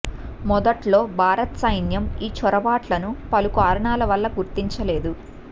మొదట్లో భారత సైన్యం ఈ చొరబాట్లను పలు కారణాల వల్ల గుర్తించలేదు